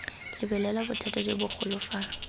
lebelela bothata jo bogolo fa